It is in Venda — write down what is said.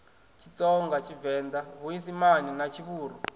tshitsonga tshivenḓa tshiisimane na tshivhuru